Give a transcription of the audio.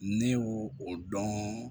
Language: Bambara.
Ne y'o o dɔn